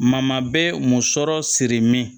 Mama bɛ munsɔrɔ sirimin